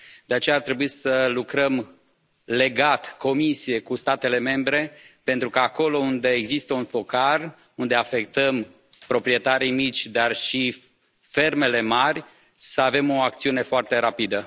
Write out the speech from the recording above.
De aceea ar trebui să lucrăm legat, Comisie cu statele membre, pentru că acolo unde există un focar, unde afectăm proprietarii mici dar și fermele mari, să avem o acțiune foarte rapidă.